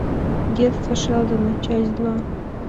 детство шелдона часть два